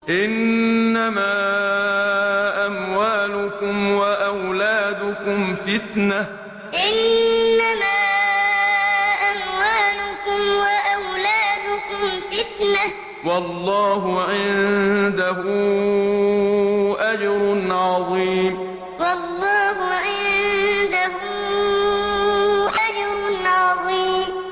إِنَّمَا أَمْوَالُكُمْ وَأَوْلَادُكُمْ فِتْنَةٌ ۚ وَاللَّهُ عِندَهُ أَجْرٌ عَظِيمٌ إِنَّمَا أَمْوَالُكُمْ وَأَوْلَادُكُمْ فِتْنَةٌ ۚ وَاللَّهُ عِندَهُ أَجْرٌ عَظِيمٌ